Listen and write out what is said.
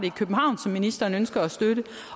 i københavn som ministeren ønsker at støtte